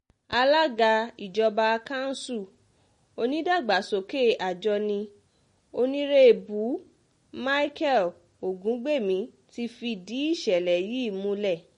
alága ìjọba kanṣu onìdàgbàsókè àjọní onírèbù micheal ògúngbẹ̀mí ti fìdí ìṣẹ̀lẹ̀ yìí múlẹ̀